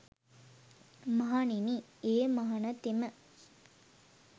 මහණෙනි ඒ මහණතෙම